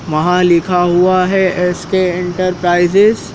वहां लिखा हुआ है एस_के इंटरप्राइजेज ।